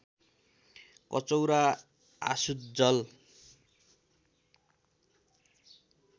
कचौरा आसुत जल